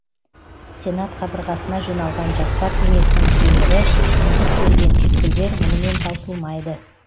сенат қабырғасына жиналған жастар кеңесінің мүшелері тізіп берген түйткілдер мұнымен таусылмайды